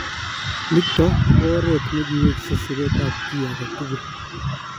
Nitok ko oret nekiweksei siret ab ki agetugul.